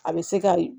A bɛ se ka